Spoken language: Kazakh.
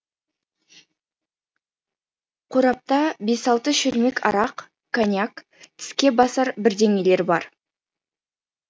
қорапта бес алты шөлмек арақ коньяк тіске басар бірдеңелер бар